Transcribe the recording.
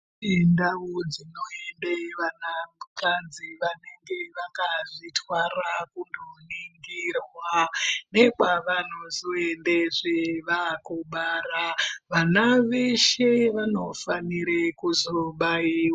Indau dzinoenda vanakadzi vanenge vaka zvitwara kundo ningirwa. Nekwa vano. zoendezve vakubara vana veshe vanofanire kuzobaiva.